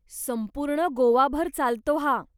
संपूर्ण गोवाभर चालतो हा.